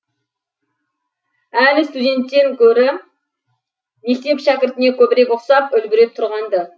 әлі студенттен гөрі мектеп шәкіртіне көбірек ұқсап үлбіреп тұрған ды